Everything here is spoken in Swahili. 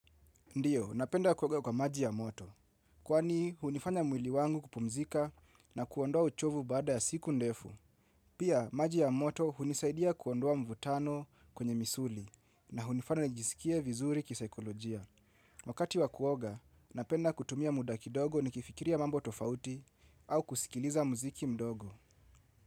Ndiyo, napenda kuoga kwa maji ya moto. Kwani, hunifanya mwili wangu kupumzika na kuondoa uchovu baada ya siku ndefu. Pia, maji ya moto hunisaidia kuondoa mvutano kwenye misuli na hunifanya nijisikie vizuri kisikolojia. Wakati wa kuoga, napenda kutumia muda kidogo nikifikiria mambo tofauti au kusikiliza muziki mdogo.